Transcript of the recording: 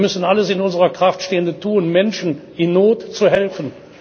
Wir müssen alles in unserer Kraft Stehende tun, Menschen in Not zu helfen.